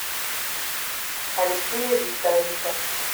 алексея викторовича